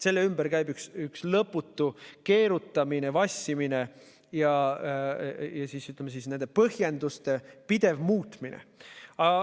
Selle ümber käib üks lõputu keerutamine, vassimine ja nende põhjenduste pidev muutmine.